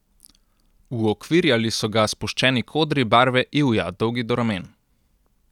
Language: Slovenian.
Uokvirjali so ga spuščeni kodri barve ivja, dolgi do ramen.